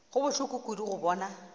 go bohloko kudu go bona